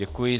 Děkuji.